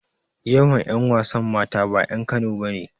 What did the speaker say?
Most of the female actors are not indigenes of Kano.